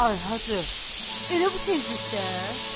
Ay Hacı, elə bu tezlikdə?